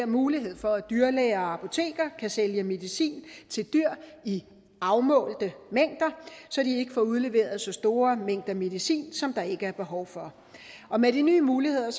mulighed for at dyrlæger og apotekere kan sælge medicin til dyr i afmålte mængder så de ikke får udleveret så store mængder medicin som der ikke er behov for og med de nye muligheder